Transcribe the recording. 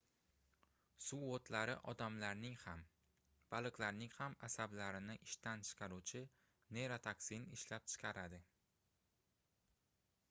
suvoʻtlari odamlarning ham baliqlarning ham asablarini ishdan chiqaruvchi neyrotoksin ishlab chiqaradi